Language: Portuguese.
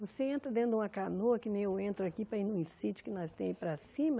Você entra dentro de uma canoa, que nem eu entro aqui para ir num sítio que nós tem aí para cima.